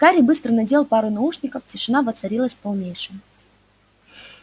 гарри быстро надел пару наушников тишина воцарилась полнейшая